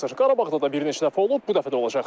Qarabağda da bir neçə dəfə olub, bu dəfə də olacaq.